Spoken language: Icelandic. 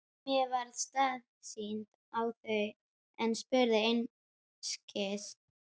Mér varð starsýnt á þau en spurði einskis.